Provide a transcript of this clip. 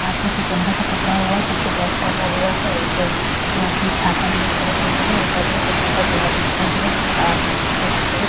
हाथ में कुछ डंडा सा पकड़े हुए हैं पीछे बैग टांगा हुआ है एक-दो आदमी छाता लिए खड़े हुए हैं एक आदमी का छाता गुलाबी दिखाई दे रहा है एक आदमी का छाता सफ़ेद --